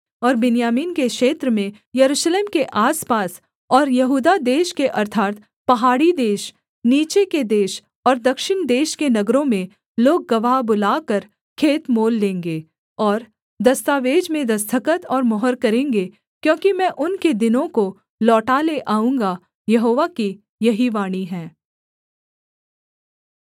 और बिन्यामीन के क्षेत्र में यरूशलेम के आसपास और यहूदा देश के अर्थात् पहाड़ी देश नीचे के देश और दक्षिण देश के नगरों में लोग गवाह बुलाकर खेत मोल लेंगे और दस्तावेज में दस्तखत और मुहर करेंगे क्योंकि मैं उनके दिनों को लौटा ले आऊँगा यहोवा की यही वाणी है